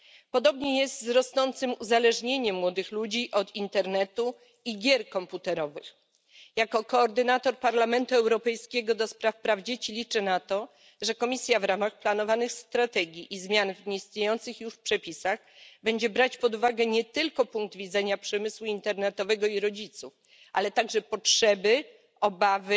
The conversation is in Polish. Podobnie jest z rosnącym uzależnieniem młodych ludzi od internetu i gier komputerowych. Jako koordynator Parlamentu Europejskiego do spraw praw dzieci liczę na to, że Komisja w ramach planowanych strategii i zmian w istniejących już w przepisach będzie brać pod uwagę nie tylko punkt widzenia przemysłu internetowego i rodziców, ale także potrzeby i obawy